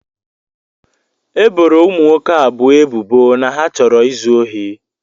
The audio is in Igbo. E boro ụmụ nwoke abụọ ebubo na ha chọrọ izu ohi